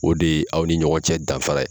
O de ye aw ni ɲɔgɔn cɛ danfa ye.